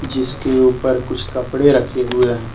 जिसके ऊपर कुछ कपड़े रखे हुए हैं।